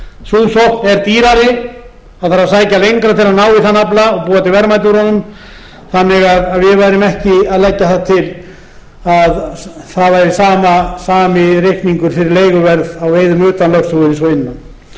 sókn er dýrari það þarf að sækja lengra til að ná í þann afla og búa til verðmæti úr honum þannig að við værum ekki að leggja það til að það væri sami reikningur fyrir leiguverð á veiðum utan lögsögu og innan